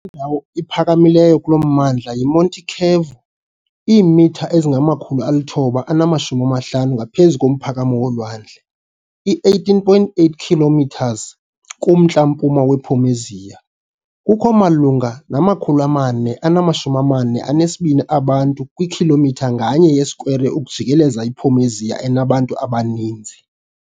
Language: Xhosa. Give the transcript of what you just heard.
ndawo iphakamileyo kulo mmandla yi-Monte Cavo, iimitha ezingama-950 ngaphezu komphakamo wolwandle, i-18.8 km kumntla-mpuma wePomezia. Kukho malunga nama-442 abantu kwikhilomitha nganye yesikwere ukujikeleza iPomezia enabantu abaninzi.